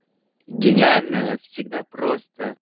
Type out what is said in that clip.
гениальное всегда просто